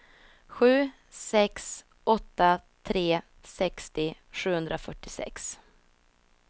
sju sex åtta tre sextio sjuhundrafyrtiosex